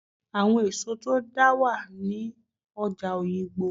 Àwọn èso tó dáa wà ní ọjà Oyigbo